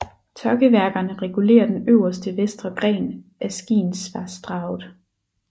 Tokkeværkerne regulerer den øverste vestre gren af Skiensvassdraget